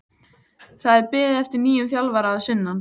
Það er beðið eftir nýjum þjálfara að sunnan.